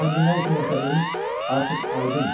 amma indi nə üçün yaşadığımız artıq aydındır.